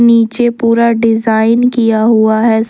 नीचे पूरा डिजाइन किया हुआ है।